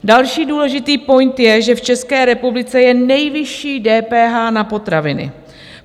Další důležitý point je, že v České republice je nejvyšší DPH na potraviny.